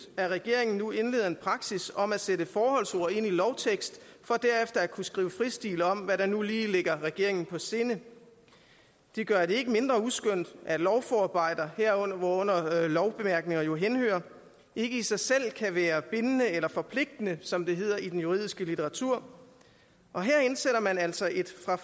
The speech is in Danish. at regeringen nu indleder en praksis om at sætte forholdsord ind i lovtekst for derefter skrive fristil om hvad der nu lige ligger regeringen på sinde det gør det ikke mindre uskønt at lovforarbejder hvorunder lovbemærkninger jo henhører ikke i sig selv kan være bindende eller forpligtende som det hedder i den juridiske litteratur og her indsætter man altså et fra